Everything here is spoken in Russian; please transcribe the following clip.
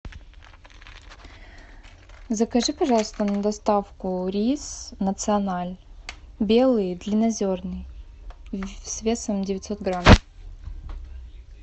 закажи пожалуйста на доставку рис националь белый длиннозерный с весом девятьсот грамм